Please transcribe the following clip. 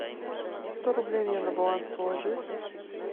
сто рублей мне на баланс положи